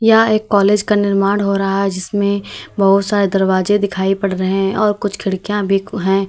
यहां एक कॉलेज का निर्माण हो रहा है जिसमें बहुत सारे दरवाजे दिखाई पड़ रहे हैं और कुछ खिड़कियां भी हैं।